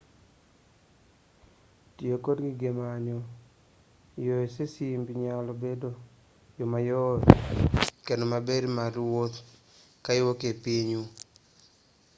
tiyo kod gige manyo yo e simbi nyalo bedo yo mayot kendo maber mar wuotho ka iwuok e pinyu